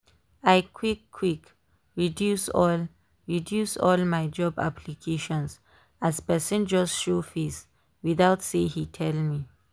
i quick quick reduce all reduce all my job applications as person just show face without say he tell me.